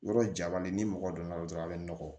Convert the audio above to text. Yɔrɔ jabali ni mɔgɔ donna dɔrɔn a bɛ nɔgɔ